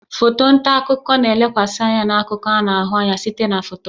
Foto nta akụkọ na-elekwasị anya na akụkọ a na-ahụ anya site na foto